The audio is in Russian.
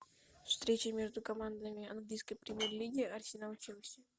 встреча между командами английской премьер лиги арсенал челси